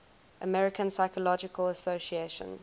american psychological association